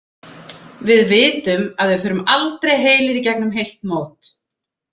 Við vitum að við förum aldrei heilir í gegnum heilt mót.